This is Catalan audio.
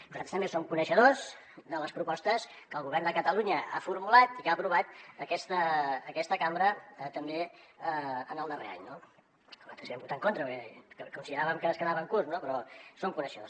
nosaltres també som coneixedors de les propostes que el govern de catalunya ha formulat i que ha aprovat aquesta cambra també en el darrer any no nosaltres hi vam votar en contra perquè consideràvem que es quedaven curts però en som coneixedors